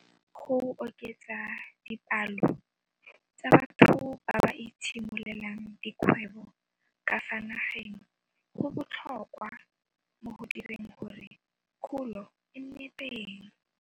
Go oketsa dipalo tsa batho ba ba itshimololelang dikgwebo ka fa nageng go botlhokwa mo go direng gore kgolo e nne teng.